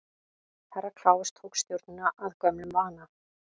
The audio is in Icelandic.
Herra Kláus tók stjórnina að gömlum vana.